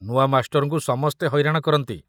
ନୂଆ ମାଷ୍ଟରଙ୍କୁ ସମସ୍ତେ ହଇରାଣ କରନ୍ତି।